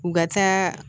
U ka taa